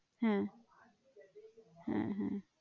হ্যাঁ হ্যাঁ হ্যাঁ